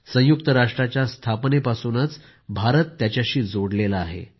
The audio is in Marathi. संयुक्त राष्ट्राच्या स्थापनेपासून भारत त्याच्याशी जोडला आहे